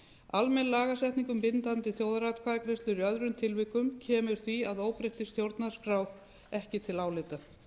almenn lagasetning um bindandi þjóðaratkvæðagreiðslur í öðrum tilvikum kemur því að óbreyttri stjórnarskrá ekki til álita